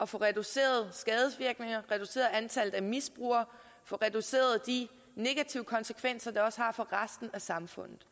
få reduceret skadesvirkninger reduceret antallet af misbrugere og reduceret de negative konsekvenser det også har for resten af samfundet